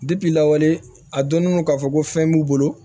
lawale a dɔnnen don k'a fɔ ko fɛn b'u bolo